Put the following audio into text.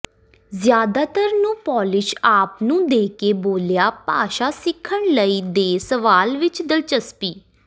ਜ਼ਿਆਦਾਤਰ ਨੂੰ ਪੋਲਿਸ਼ ਆਪ ਨੂੰ ਦੇ ਕੇ ਬੋਲਿਆ ਭਾਸ਼ਾ ਸਿੱਖਣ ਲਈ ਦੇ ਸਵਾਲ ਵਿੱਚ ਦਿਲਚਸਪੀ